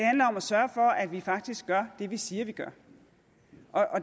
sørge for at vi faktisk gør det vi siger vi gør